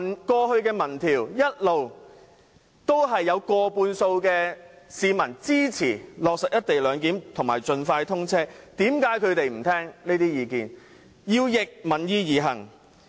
過去的民意調查一直都有過半數市民支持落實"一地兩檢"和高鐵盡快通車，為何反對派議員不聽這些意見，要逆民意而行？